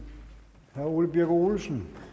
ole birk olesen